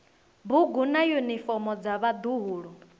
bugu na yunifomo dza vhaḓuhulu